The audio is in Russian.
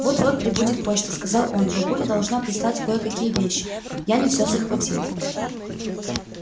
вот-вот прибудет почта сказал он бабуля должна прислать кое-какие вещи я не все захватил